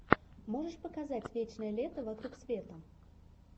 можешь показать вечное лето вокруг света